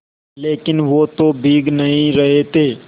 लेकिन वो तो भीग नहीं रहे थे